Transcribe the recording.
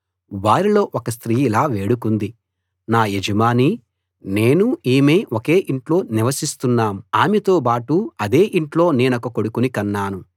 వారిలో ఒక స్త్రీ ఇలా వేడుకుంది నా యజమానీ నేనూ ఈమె ఒకే ఇంట్లో నివసిస్తున్నాం ఆమెతో బాటు అదే ఇంట్లో నేనొక కొడుకుని కన్నాను